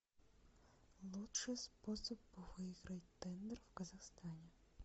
лучший способ выиграть тендер в казахстане